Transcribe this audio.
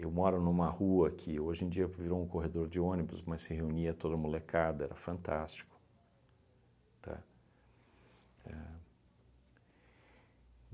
moro numa rua que hoje em dia virou um corredor de ônibus, mas se reunia toda a molecada, era fantástico, tá? Ahn